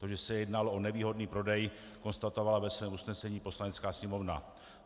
To, že se jednalo o nevýhodný prodej, konstatovala ve svém usnesení Poslanecká sněmovna.